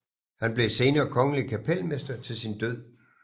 Han blev senere kongelig kapelmester til sin død